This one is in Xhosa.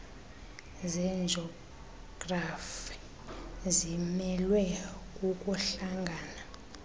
zejografi zimelwe kukuhlangana